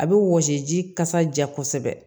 A bɛ wɔsi ji kasa ja kosɛbɛ